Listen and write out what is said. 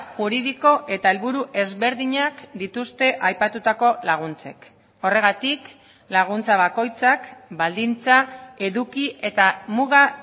juridiko eta helburu ezberdinak dituzte aipatutako laguntzek horregatik laguntza bakoitzak baldintza eduki eta muga